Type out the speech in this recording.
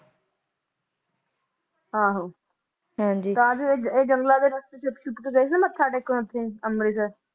ਆਹੋ ਹਾਂਜੀ ਕਾਹਦੇ ਲਈ ਏਹ ਜੰਗਲਾਂ ਦੇ ਰਾਸਤੇ ਛੁਪ-ਛੁਪ ਕੇ ਗਏ ਸੀ ਨਾ ਮੱਥਾ ਟੇਕਣ ਓਥੇ ਅਮ੍ਰਿਤਸਰ